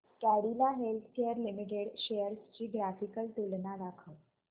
Cadila healthcare limited shares ची graphical तुलना दाखव